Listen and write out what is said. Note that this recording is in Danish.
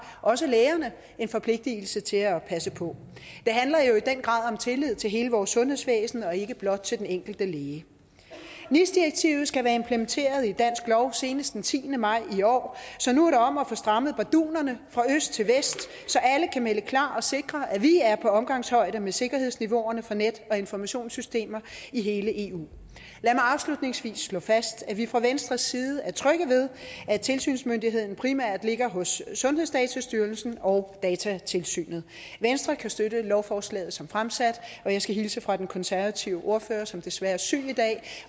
også lægerne en forpligtelse til at passe på det handler jo i den grad om tillid til hele vores sundhedsvæsen og ikke blot til den enkelte læge nis direktivet skal være implementeret i dansk lov senest den tiende maj i år så nu er det om at få strammet bardunerne fra øst til vest så alle kan melde klar og sikre at vi er på omgangshøjde med sikkerhedsniveauerne for net og informationssystemer i hele eu lad mig afslutningsvis slå fast at vi fra venstres side er trygge ved at tilsynsmyndigheden primært ligger hos sundhedsdatastyrelsen og datatilsynet venstre kan støtte lovforslaget som fremsat og jeg skal hilse fra den konservative ordfører som desværre er syg i dag